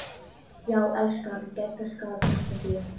Já, elskan, Gedda skal hjálpa þér